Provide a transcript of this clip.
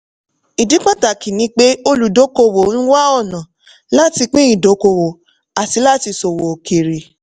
ìdí pàtàkì ni pé òludókòowò ń wá ọ̀nà láti pín idokowo àti láti ṣòwò òkèèrè.